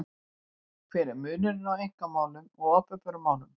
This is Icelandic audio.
Hver er munurinn á einkamálum og opinberum málum?